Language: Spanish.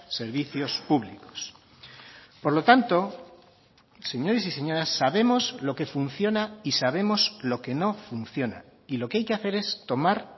servicios públicos por lo tanto señores y señoras sabemos lo que funciona y sabemos lo que no funciona y lo que hay que hacer es tomar